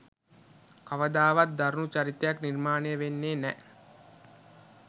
කවදාවත් දරුණු චරිතයක් නිර්මාණය වෙන්නෙ නෑ.